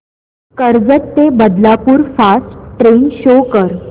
कर्जत ते Badlapur fast train शो कर